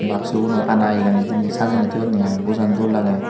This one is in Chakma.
baxu gunot ana gani diney sajey ni thoyunne iy bojan dol lage.